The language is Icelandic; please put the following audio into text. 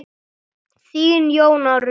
Þín, Jóna Rut.